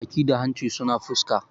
baki da hanci suna fuska